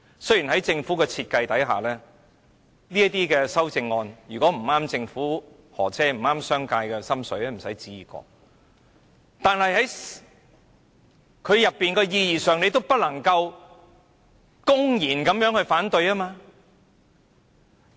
雖然在政府的設計下，如果修正案不合政府的心意，不合商界的心意便休想可以通過，但是，局長也不能公然反對代議政制的意義。